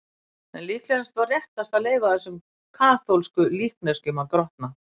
En líklega var réttast að leyfa þessum kaþólsku líkneskjum að grotna.